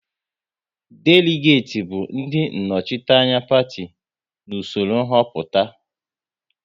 Deligati bụ ndị nnọchiteanya Parti n'usoro nhoputa